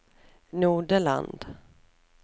Nodeland